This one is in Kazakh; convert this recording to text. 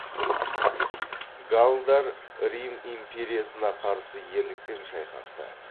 галлдар рим империясына қарсы ерлікпен шайқасты